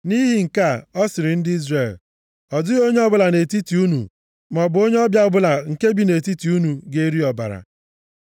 Nʼihi nke a, a sịrị ndị Izrel, “Ọ dịghị onye ọbụla nʼetiti unu, maọbụ onye ọbịa ọbụla nke bi nʼetiti unu ga-eri ọbara.”